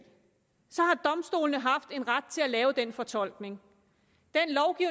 så har domstolene haft en ret til at lave den fortolkning